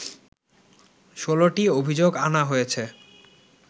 ১৬টি অভিযোগ আনা হয়েছে